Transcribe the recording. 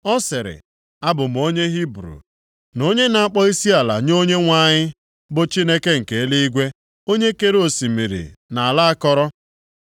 Ọ sịrị, “Abụ m onye Hibru, na onye na-akpọ isiala nye Onyenwe anyị, bụ Chineke nke eluigwe, onye kere osimiri na ala akọrọ.”